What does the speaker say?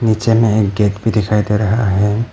नीचे में एक गेट भी दिखाई दे रहा है।